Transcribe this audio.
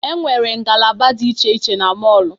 E nwere ngalaba dị iche iche na mọọlụ.